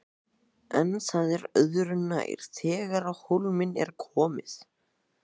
En það er öðru nær þegar á hólminn er komið.